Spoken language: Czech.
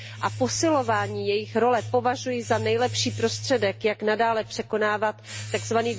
a posilování jejich role považuji za nejlepší prostředek, jak nadále překonávat tzv.